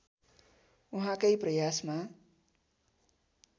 उहाँकै प्रयासमा